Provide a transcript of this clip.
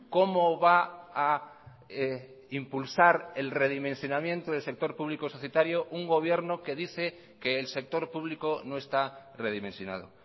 cómo va a impulsar el redimensionamiento del sector público societario un gobierno que dice que el sector público no está redimensionado